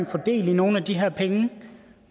få del i nogle af de her penge